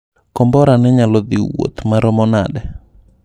Kombora no nyalo dhi wuoth maromo nade?